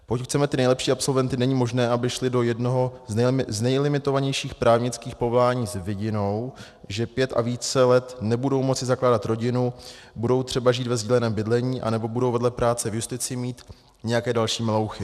Pokud chceme ty nejlepší absolventy, není možné, aby šli do jednoho z nejlimitovanějších právnických povolání s vidinou, že pět a více let nebudou moci zakládat rodinu, budou třeba žít ve sdíleném bydlení anebo budou vedle práce v justici mít nějaké další melouchy.